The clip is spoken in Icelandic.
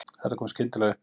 Þetta kom skyndilega upp